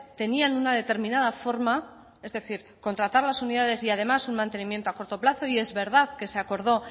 tenían una determinada forma es decir contratar a las unidades y además un mantenimiento a corto plazo y es verdad que se acordó